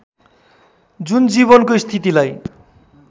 जुन जीवनको स्थितिलाई